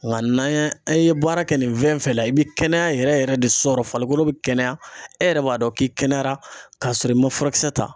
Nga n'an ye, an ye baara kɛ nin fɛn fɛn la, i be kɛnɛya yɛrɛ yɛrɛ de sɔrɔ farikolo bɛ kɛnɛya e yɛrɛ b'a dɔn k'i kɛnɛyara ka sɔrɔ i ma furakisɛ ta.